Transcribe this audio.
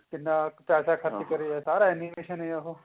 ਕਿੰਨਾ ਪੈਸਾ ਖਰਚ ਕਰਿਆ ਸਾਰਾ animation ਹੀ ਹੈ ਉਹ